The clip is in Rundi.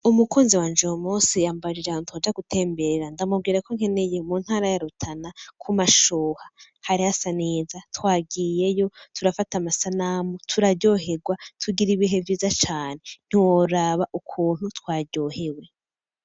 Umukunzi wanje uyumunsi yambajije ahantu twoja gutembera ndamubwirako nkeneye mu ntara ya rutana kumashuha, hari hasa neza twagiyeyo turafata amasanamu turaryohegwa tugira ibihe vyiza cane, ntiworaba ukuntu twaryohewe.